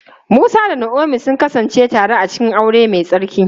Musa da Naomi sun kasance tare a cikin aure mai tsarki.